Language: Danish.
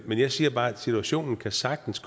men jeg siger bare at situationen sagtens